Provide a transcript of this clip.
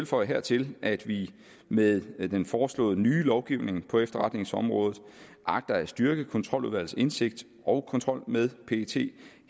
føje til at vi med den foreslåede nye lovgivning på efterretningsområdet agter at styrke kontroludvalgets indsigt i og kontrol med pet